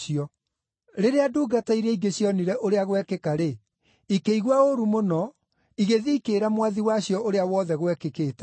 Rĩrĩa ndungata iria ingĩ cioonire ũrĩa gwekĩka-rĩ, ikĩigua ũũru mũno, igĩthiĩ ikĩĩra mwathi wacio ũrĩa wothe gwekĩkĩte.